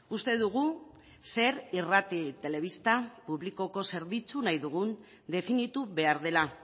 uste dugu zer irrati telebista publikoko zerbitzua nahi dugun definitu behar dela